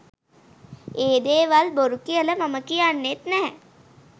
ඒ දේවල් බොරු කියල මම කියන්නෙත් නෑ.